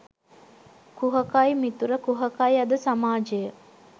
කුහකයි මිතුර කුහකයි අද සමාජය